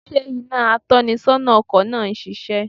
Sé iná atónisónà ọkò náà ń sisé?